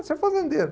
O seu fazendeiro.